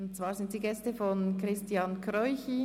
Es sind Gäste von Christian Kräuchi.